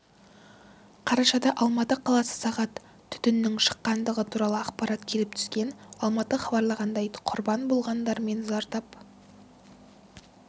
қарашада алматы қаласы сағ түтіннің шыққандығы туралы ақпарат келіп түскен алматы хабарлағандай құрбан болғандар мен зардап